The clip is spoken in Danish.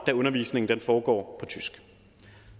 da undervisningen foregår tysk